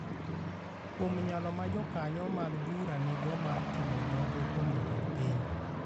kuom nyalo ma jokanyo mag bura nigo mar timo nonro kuom jatend piny